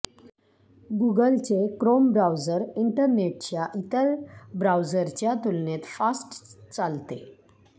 गूगलचे Chrome browser इंटरनेटच्या इतर ब्राउझरच्या तुलनेत फास्ट चालते